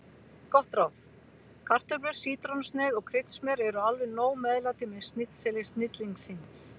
Gott ráð: Kartöflur, sítrónusneið og kryddsmjör eru alveg nóg meðlæti með snitseli snillingsins.